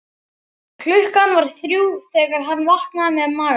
Klukkan var þrjú þegar hann vaknaði með magaverk.